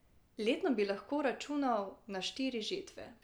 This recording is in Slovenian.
Letno bi lahko računal na štiri žetve.